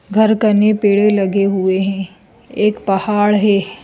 घर कने पेड़े लगे हुए हैं एक पहाड़ है।